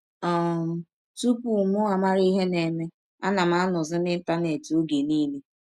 um Tụpụ m mara ihe na - eme, ana m anọzi n’Ịntanet ọge niile.